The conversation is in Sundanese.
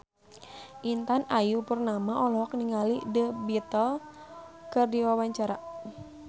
Intan Ayu Purnama olohok ningali The Beatles keur diwawancara